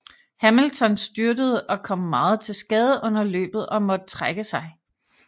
Hamilton styrtede og kom meget til skade under løbet og måtte trække sig